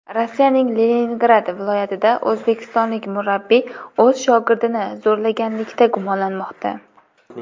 Rossiyaning Leningrad viloyatida o‘zbekistonlik murabbiy o‘z shogirdini zo‘rlaganlikda gumonlanmoqda.